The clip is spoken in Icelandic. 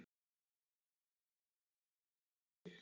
Mamma er fyrst að átta sig